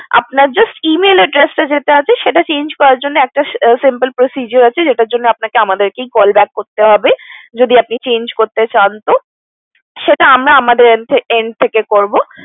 আপনার just Email address টা যা আছে সেটা change করার জন্য আমাদের একটা simple procedure আছে সেটার জন্য আপনাকে আমাদেরকে call back করতে হবে যদি আপনি change করতে চান তো সেটা আমরা আমাদের end থেকে করবো